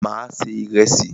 Mà á se ìrẹsì.